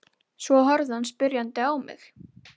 Við fæðingu er hann jafn stór hnefa barnsins.